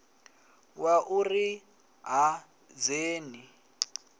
wa u ri ha dzheni